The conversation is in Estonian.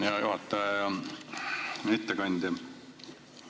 Hea juhataja ja ettekandja!